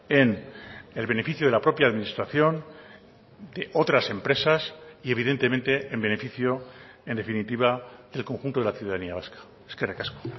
en el beneficio de la propia administración de otras empresas y evidentemente en beneficio en definitiva del conjunto de la ciudadanía vasca eskerrik asko